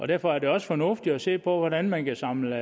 derfor er det også fornuftigt at se på hvordan man kan samle